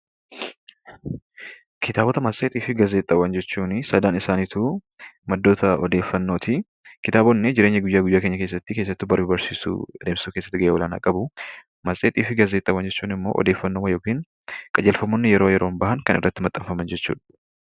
Kitaabota matseetii fi gaazexaawwan jechuun sadan isaaniitu maddoota odeeffannooti. Kitaabonni jireenya guyyaa guyyaa keessatti, keessattuu baruuf barsiisuu keessatti gahee olaanaa qabu. Matseetii fi gaazexaawwan jechuun immoo odeeffannoo yookiin qajeelfamoonni yeroo yeroon bahan kan irratti maxxanan jechuudha.